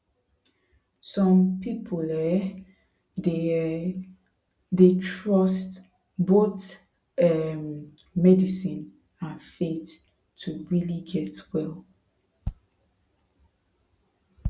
some people um dey um dey trust both um medicine and faith to really get well